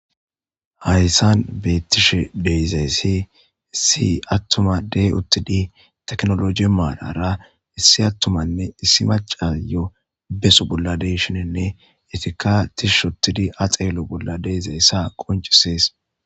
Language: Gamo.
hayssan beettishshe de'izayssi issi attuma de'i uttidi tekinolojje maarara issi attumanne issi macayo beso bolla de'ishshinenne etiikka tishshi ottidi ha xeelo bolla de'izayssa qoncisees